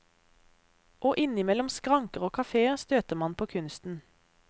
Og innimellom skranker og kaféer støter man på kunsten.